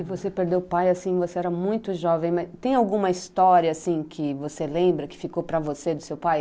E você perdeu o pai, assim, você era muito jovem, mas tem alguma história, assim, que você lembra, que ficou para você do seu pai?